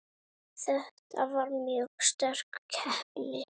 Þetta var mjög sterk keppni.